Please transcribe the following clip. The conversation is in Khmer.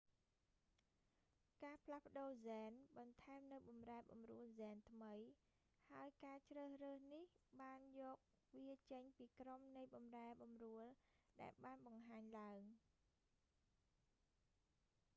ការផ្លាស់ប្តូរហ្សែន បន្ថែមនូវបម្រែបម្រួលហ្សែនថ្មី ហើយការជ្រើសរើសនេះបានយកវាចេញពីក្រុមនៃបម្រែបម្រួលដែលបានបង្ហាញឡើង